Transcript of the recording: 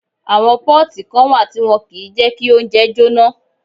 Àwọn pọ́ọ̀tì kan wà tí wọ́n kìí jẹ kí oúnjẹ jóná